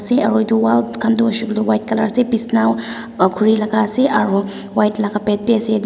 ase aru wall khan tu hoise koiley white colour ase bisnaw a khuri laga ase white laga bed bhi ase et--